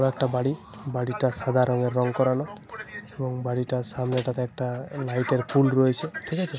বড় একটা বাড়ি। বাড়িটা সাদা রঙের রং করানো। এবং বাড়িটার সামনেটাতে একটা লাইটের পোল রয়েছে ঠিক আছে ?